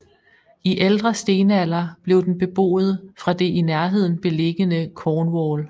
I Ældre stenalder blev den beboet fra det i nærheden beliggende Cornwall